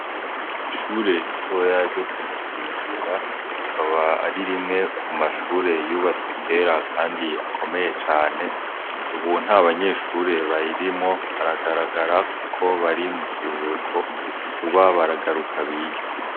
Ishure ritoya ryo Kumusinzira akaba ari rimwe mu mashure yubatswe kera kandi akomeye cane ubu nta banyeshure bayirimwo haragaragara kuko bari mu kiruhuko vuba baragaruka bige.